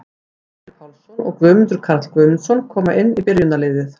Emil Pálsson og Guðmundur Karl Guðmundsson koma inn í byrjunarliðið.